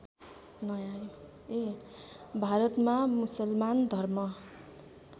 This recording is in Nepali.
भारतमा मुसलमान धर्म